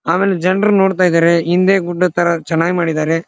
ಆಮೇಲೆ ಜನ್ರು ನೋಡ್ತಾ ಇದಾರೆ ಹಿಂದೆ ಗುಡ್ಡದ ತರ ಚಂದ ಮಾಡಿದಾರೆ.